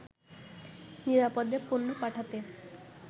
নিরাপদে পণ্য পাঠাতে